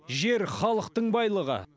жер халықтың байлығы